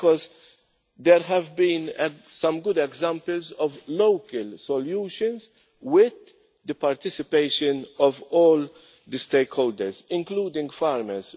Why? Because there have been some good examples of local solutions with the participation of all the stakeholders, including farmers.